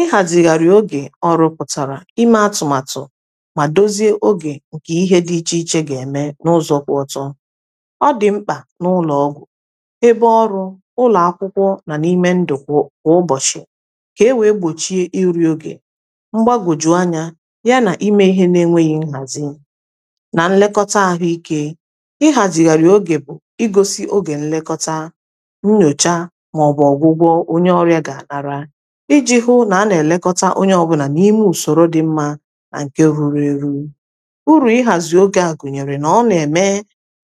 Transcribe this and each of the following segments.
ịhàzì meghàrì ogè ọrụ̇pụ̀tàrà ime atụ̀màtụ̀ mà dozie ogè ǹkè ihe dị ichè ichè gà-ème n’ụzọ̇ kwụ ọtọ ọ dị̀ mkpà n’ụlọ̀ ọgwụ̀ ebe ọrụ ụlọ̀ akwụkwọ nà n’ime ndụ̀ kwụ̀ kwụ̀ ụbọ̀chị̀ kà e wèe gbòchie iri̇ ogè mgbagwòjù anyȧ ya nà ime ihe n’enwėghi̇ nhàzi nà nlekọta àhụ ikė ịhàzìghàrì ogè bụ̀ i gosi ogè nlekọta nnyòcha mà ọ̀bụ̀ ọgwụgwọ onye ọrịȧ gà àlàrà ịjị̇ hụ na a na-elekọta onye ọbụna na ime usoro dị mmȧ ǹke ruru eru̇ urù ịhàzị̀ ogè a gụ̀nyèrè nà ọ nà-ème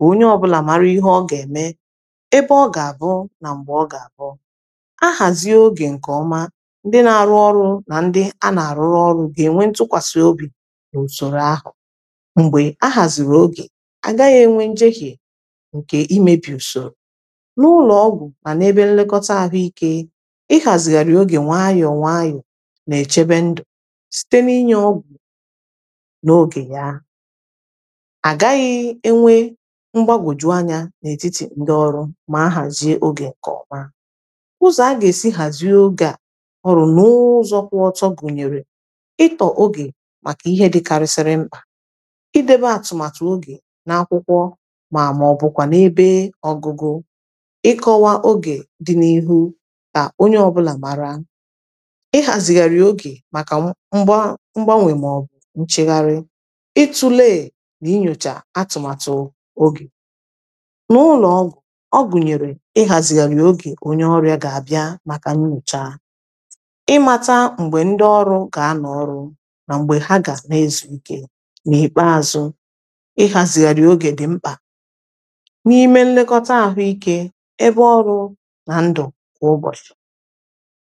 onye ọbụlà mara ihe ọ gà-ème ebe ọ gà-àbụ na mgbe ọ gà-àbụ ahàzị ogè ǹkèọma ndị na-arụ ọrụ nà ndị a nà-àrụrụ ọrụ ga-enwe ntụkwàsị̀obi̇ ùsòrò ahụ̀ m̀gbè ahàzịrị ogè a gaghị̇ enwe njehè ǹkè imėbì ùsòrò n’ụlọọgwụ̀ mà n’ebe nlekọta ahụ ike na echebe ndụ site n’inye ọgụ n’oge ya agaghị enwe mgbagòjù anya n’etiti ndị ọrụ ma ahazie oge ka ọma ụzọ a ga-esi hazi oge a ọrụ n’ụzọ kwụọ ọtọ gụnyere ịtọ oge maka ihe dịkarịsịrị mkpa idebe atụmatụ oge n’akwụkwọ ma ọbụkwa n’ebe ọgụgụ ịkọwa oge dị n’ihu ta onye ọbụla mara ị hazigharị oge maka mgban mgbanwe ma ọ bụ nchegharị ị tulee na-inyocha atụmatụ oge n’ụlọọgwụ ọgụnyere ị hazigharị oge onye ọrịa ga-abịa maka nyocha ị mata mgbe ndị ọrụ ga a na ọrụ na mgbe ha ga na-ezuike n’ikpeazụ ị hazigharị oge dị mkpa n’ime nlekọta ahụike ebe ọrụ na ndụ kwa ụbọchị